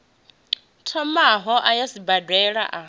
thomaho a ya sibadela a